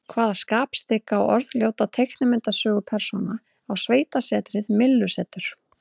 Hvaða skapstygga og orðljóta teiknimyndasögupersóna á sveitasetrið Myllusetur?